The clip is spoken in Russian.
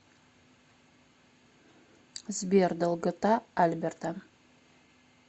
сбер долгота альберта